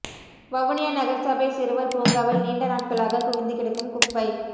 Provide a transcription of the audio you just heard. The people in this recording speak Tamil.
வவுனியா நகரசபை சிறுவர் பூங்காவில் நீண்ட நாட்களாக குவிந்து கிடக்கும் குப்பை